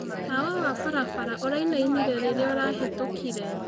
Tawa wa barabara ũraĩnaĩnĩre rĩrĩa arahĩtũkĩre